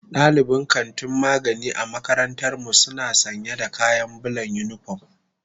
Dalibin kantin magani a makarantar mu suna sanya da kayan bulan unipom.